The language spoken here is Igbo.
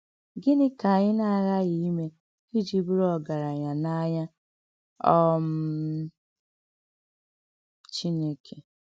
Gịnị́ kà ànyị nà-àghàghị ímè íjì bùrù ògaránya n’ànýá um Chìnèké?